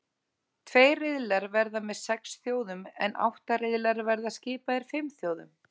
Tveir riðlar verða með sex þjóðum en átta riðlar verða skipaðir fimm þjóðum.